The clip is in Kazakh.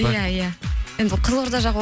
иә иә енді қызылорда жақ